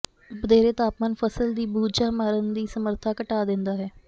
ਵਧੇਰੇ ਤਾਪਮਾਨ ਫ਼ਸਲ ਦੀ ਬੂਝਾ ਮਾਰਨ ਦੀ ਸਮਰਥਾ ਘਟਾ ਦਿੰਦਾ ਹੈ